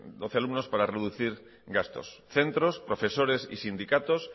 doce alumnos para reducir gastos centros profesores y sindicatos